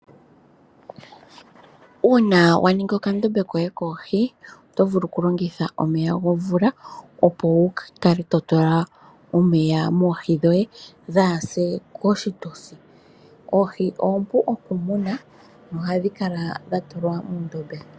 Uuna waningi okandombe koye koohi oto vulu okulongitha omeya gomvula opo wukale totula omeya moohi dhoye dhaase koshitosi . Oohi oompu okumunwa nohadhi kala oompu okutekulwa.